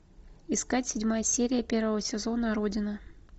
искать седьмая серия первого сезона родина